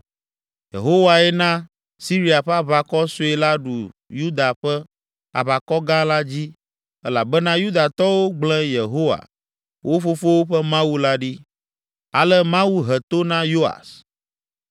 Yehowae na Siria ƒe aʋakɔ sue la ɖu Yuda ƒe aʋakɔ gã la dzi elabena Yudatɔwo gble Yehowa, wo fofowo ƒe Mawu la ɖi. Ale Mawu he to na Yoas.